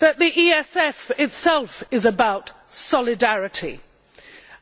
The ESF itself is about solidarity,